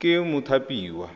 ke mothapiwa